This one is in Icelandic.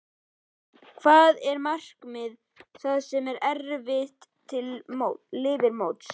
Hvað er markmiðið það sem eftir lifir móts?